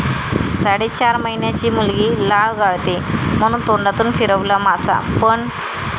साडेचार महिन्याची मुलगी लाळ गाळते म्हणून तोंडातून फिरवला मासा, पण..!